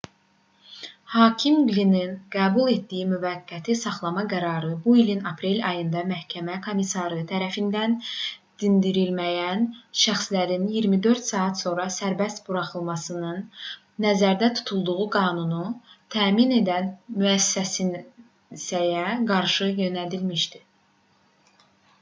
hakim qlinin qəbul etdiyi müvəqqəti saxlama qərarı bu ilin aprel ayında məhkəmə komissarı tərəfindən dindirilməyən şəxslərin 24 saat sonra sərbəst buraxılmasının nəzərdə tutulduğu qanunu təmin edən müəssisəyə qarşı yönəlmişdi